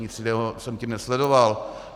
Nic jiného jsem tím nesledoval.